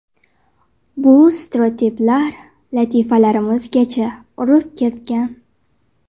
Bu stereotiplar latifalarimizgacha urib ketgan.